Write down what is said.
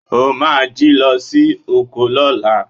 O máa jí lọ sí oko lọ́la.